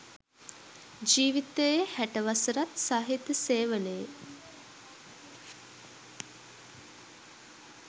ජීවිතයේ හැට වසරත් සාහිත්‍ය සේවනයේ